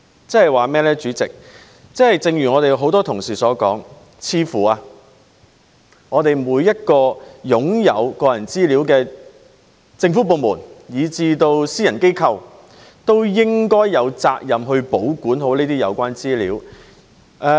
主席，換句話說，正如我們很多同事所說，每個擁有個人資料的政府部門以至私人機構，似乎都應有責任保管好這些資料。